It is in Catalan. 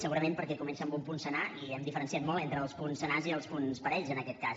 segurament perquè comença amb un punt senar i hem diferenciat molt entre els punts senars i els punts parells en aquest cas